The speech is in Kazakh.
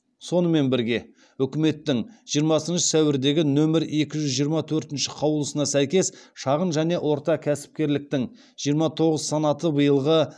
сонымен бірге үкіметтің жиырмасыншы сәуірдегі нөмір екі жүз жиырма төртінші қаулысына сәйкес шағын және орта кәсіпкерліктің жиырма тоғыз санаты биылғы